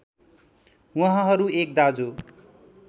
उहाँहरू एक दाजु